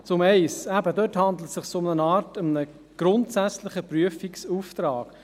Zur Planungserklärung 1: Dabei handelt es sich um eine Art grundsätzlichen Prüfungsauftrag.